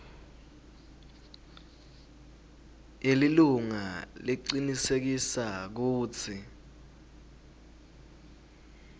yelilunga lecinisekisa kutsi